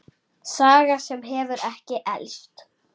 Saga sem hefur ekki elst.